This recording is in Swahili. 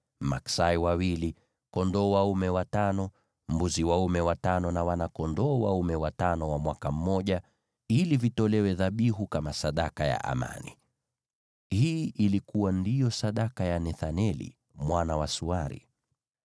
maksai wawili, kondoo dume watano, mbuzi dume watano na wana-kondoo dume watano wa mwaka mmoja, ili vitolewe dhabihu kama sadaka ya amani. Hii ndiyo ilikuwa sadaka ya Nethaneli mwana wa Suari.